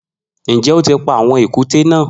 Njẹ o ti pa awọn èkúté na?